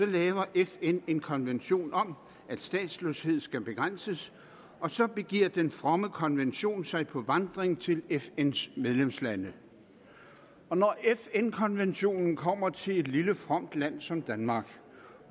laver fn en konvention om at statsløshed skal begrænses og så begiver den fromme konvention sig på vandring til fns medlemslande da fn konventionen kommer til et lille fromt land som danmark